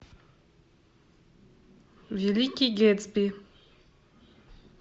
великий гэтсби